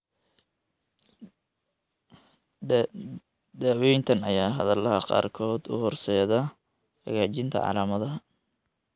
Daawayntan ayaa xaaladaha qaarkood u horseeday xagaajinta calaamadaha.